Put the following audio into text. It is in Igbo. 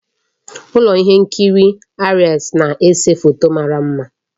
Ụlọ ihe nkiri Aries na-ese foto mara mma